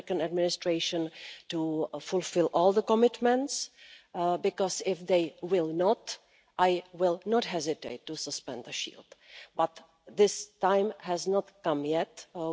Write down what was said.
administration to fulfil all the commitments, because if they do not do so I will not hesitate to suspend the shield. But this time has not yet come.